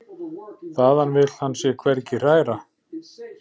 Þaðan vill hann sig hvergi hræra.